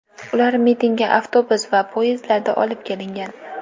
Ular mitingga avtobus va poyezdlarda olib kelingan.